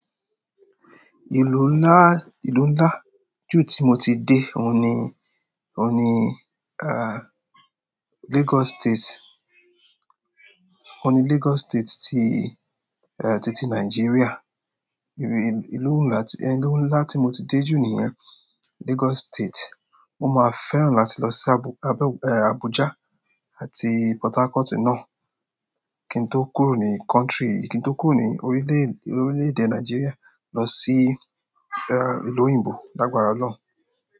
Ìlú nlá, ìlú nlá jù tí mo ti dé òun ni, òun ni, Lagos State. Òun ni Lagos State ti i, titi Nigeria. Ibi, ìlú ńlá tí, ìlú ńlá tí mo ti dé jù nìyẹn, Lagos State. Mo máa fẹ́ràn láti lọ sí Abú, Abé, Abuja àti Portharcourt náà. Kín tó kúrò ní country, kín tó kúrò ní orílè, orílè-èdè Nigeria lọ sí, ìlú òyìnbó lágbára ọlọ́run.